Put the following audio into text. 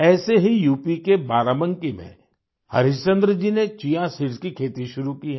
ऐसे ही यूपी के बाराबंकी में हरिश्चंद्र जी ने चिया सीड्स चिया सीड्स की खेती शुरू की है